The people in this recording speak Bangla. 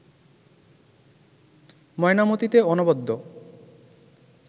ময়নামতিতে অনবদ্য